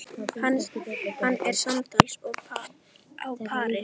Hann er samtals á pari.